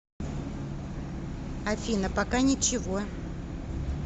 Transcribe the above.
афина пока ничего